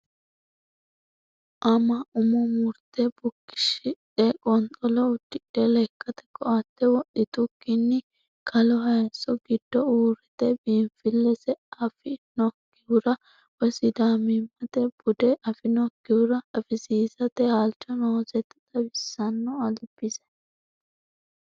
Ama umo murte bukichishidhe qonxolo udidhe lekkate koate wodhitukkinni kalo hayiso giddo uurrite biinfilese afinokkihura woyi sidaamimmate bude afinokkihura afisiisate halcho noosetta xawisano albise.